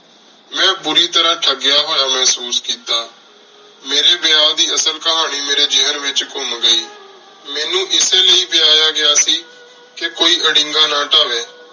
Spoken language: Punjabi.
ਮੇਂ ਬੁਰੀ ਤਰ੍ਹਾ ਥਾਗ੍ਯ ਹੋਯਾ ਮੇਹ੍ਸੂਸ ਕੀਤਾ ਮੇਰੀ ਵੇਯ ਦੀ ਅਸਲ ਕਹਾਨੀ ਮੇਰੀ ਜੇਹਨ ਵਿਚ ਕੁਮ ਗਈ ਮੇਨੂ ਏਸੀ ਲੈ ਵੇਯਾਯਾ ਗਯਾ ਸੀ ਕੋਈ ਅਰੀੰਗਾ ਨਾ ਤਾਵੀ